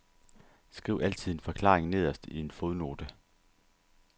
Skriv altid en forklaring nederst i en fodnote.